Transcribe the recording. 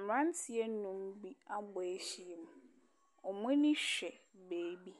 Mmeranteɛ nnum bi abɔ ahyia mu. Wɔn ani hwɛ baabi.